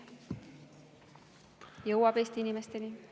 Jõuab Eesti inimesteni!